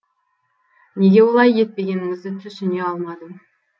неге олай етпегеніңізді түсіне алмадым